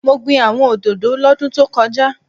Mo gbin àwọn òdòdó lọ́dún tókojá